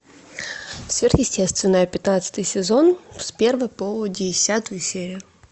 сверхъестественное пятнадцатый сезон с первой по десятую серию